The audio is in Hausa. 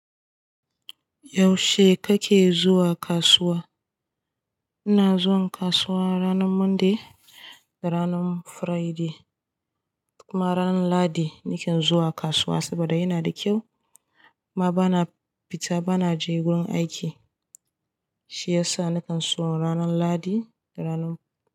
Yaushe kake zuwa kasuwa? Ina zuwa kasuwa ranan Monday da ranan Friday kuma ranan Lahadi nike zuwa kasuwa saboda yana da kyau. Ma bana fita bana je wurin aiki, shi yasa nakan so ranan Lahadi da ranan.